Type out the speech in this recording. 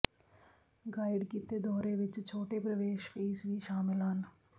guide ਕੀਤੇ ਦੌਰੇ ਵਿਚ ਛੋਟੇ ਪ੍ਰਵੇਸ਼ ਫੀਸ ਵੀ ਸ਼ਾਮਲ ਹਨ